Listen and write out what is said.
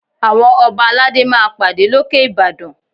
Àwọn Ọba aládé máa pàdé lókè Ìbàdàn